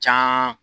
Can